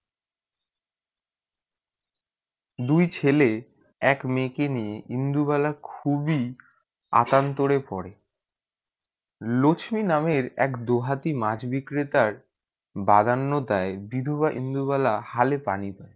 দুই ছেলে এক মে কে লিয়ে ইন্দুবালা খুবই আতান্তরে পরে লক্সমী নামের এক দোহাটি মাছ বিক্রেতার বাগান দায়ে বিধবা ইন্দুবালা হলে পানি